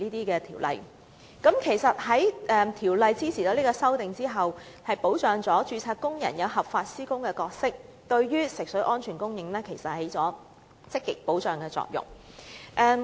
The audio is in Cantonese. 如《條例草案》的修正案在我們的支持下獲立法會通過，便能確立註冊工人合法施工的角色，並有助保障安全食水的供應。